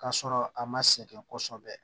K'a sɔrɔ a ma sɛgɛn kosɛbɛ